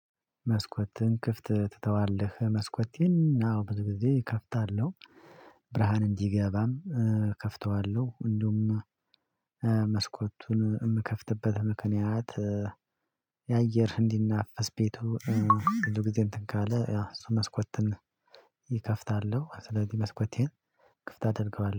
መስኮትን ክፍት ትተዋለህ? መስኮቴን አዎ ብዙ ጊዜ እከፍታለሁ ብርሃን እንዲገባም እከፍተዋለሁ እንዲሁም መስኮቱን የምከፍትበት ምክንያት የአየር እንዲናፈስ ቤቱ ብዙ ጊዜ እንትን ካለ ያው እሱ መስኮትን እከፍታለሁ ስለዚህ መስኮቴን ክፍት አደርገዋለሁ